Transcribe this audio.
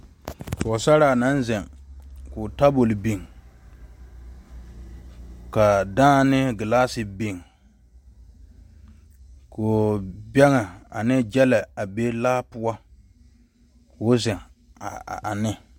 Pɔgesera naŋ zeŋ ko'o tabol biŋ ka dãã ne gelasi biŋ bɛŋe ne gyile be laa poɔ ko'o zeŋ ane.